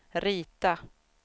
rita